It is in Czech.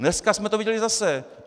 Dneska jsme to viděli zase.